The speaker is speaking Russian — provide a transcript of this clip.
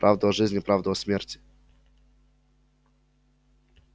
правду о жизни правду о смерти